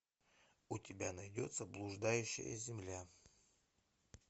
у тебя найдется блуждающая земля